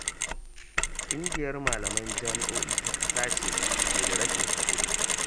Ƙungiyar Malaman Jami'o'i ta Ƙasa ce ke da rashin haƙuri.